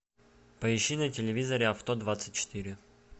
поищи на телевизоре авто двадцать четыре